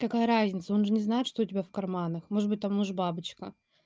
какая разница он же не знает что у тебя в карманах может быть там нож-бабочка